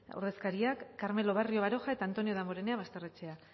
ordezkariak carmelo barrio baroja eta antonio damborenea basterrechea